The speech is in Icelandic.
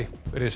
verið þið sæl